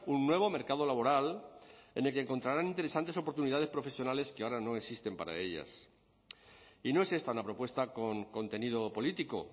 un nuevo mercado laboral en el que encontrarán interesantes oportunidades profesionales que ahora no existen para ellas y no es esta una propuesta con contenido político